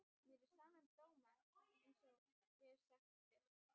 Mér er sama um dóma einsog ég hef sagt þér.